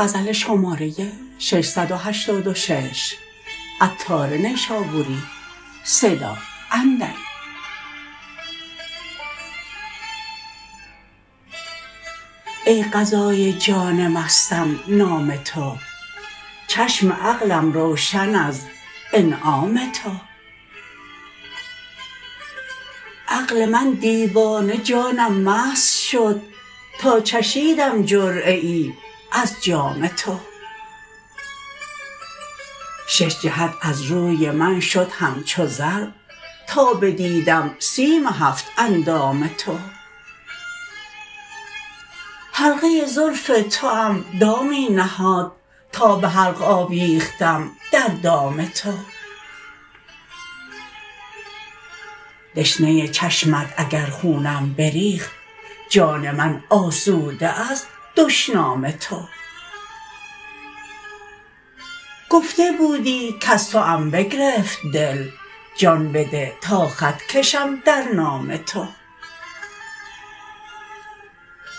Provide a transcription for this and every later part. ای غذای جان مستم نام تو چشم عقلم روشن از انعام تو عقل من دیوانه جانم مست شد تا چشیدم جرعه ای از جام تو شش جهت از روی من شد همچو زر تا بدیدم سیم هفت اندام تو حلقه زلف توام دامی نهاد تا به حلق آویختم در دام تو دشنه چشمت اگر خونم بریخت جان من آسوده از دشنام تو گفته بودی کز توام بگرفت دل جان بده تا خط کشم در نام تو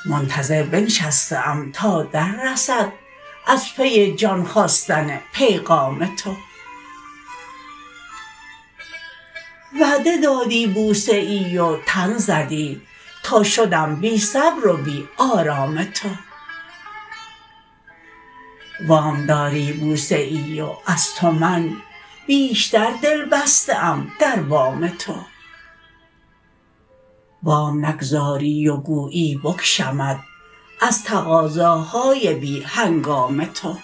منتظر بنشسته ام تا در رسد از پی جان خواستن پیغام تو وعده دادی بوسه ای و تن زدی تا شدم بی صبر و بی آرام تو وام داری بوسه ای و از تو من بیشتر دل بسته ام در وام تو وام نگذاری و گویی بکشمت از تقاضاهای بی هنگام تو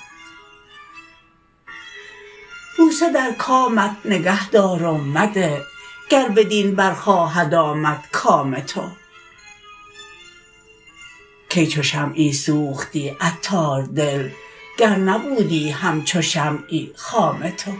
بوسه در کامت نگه دار و مده گر بدین بر خواهد آمد کام تو کی چو شمعی سوختی عطار دل گر نبودی همچو شمعی خام تو